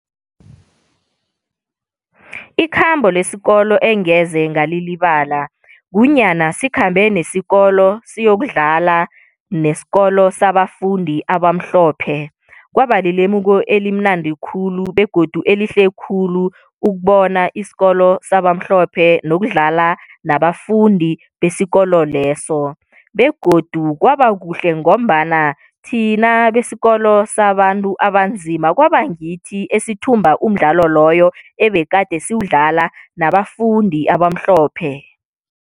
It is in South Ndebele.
Ikhambo lesikolo engeze ngalilibala, kunyana sikhambe nesikolo siyokudlala nesikolo sabafundi abamhlophe. Kwaba lilemuko elimnandi khulu begodu elihle khulu ukubona isikolo sabamhlophe, nokudlala nabafundi besikolo leso. Begodu kwaba kuhle ngombana thina besikolo sabantu abanzima, kwaba ngithi esithumba umdlalo loyo ebegade siwudlala nabafundi abamhlophe.